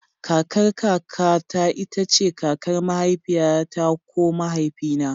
Kakar kaka ta ita ce kakar mahaifiyata ko mahaifina.